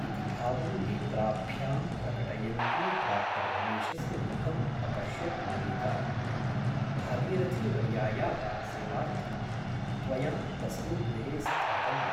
इति भावं नेत्राभ्यां प्रकटयन्ती डा रमेशस्य मुखम् अपश्यत् मल्लिका । भागीरथीवर्यायाः सेवार्थं त्वया तस्मिन् गृहे स्थातव्यम् ।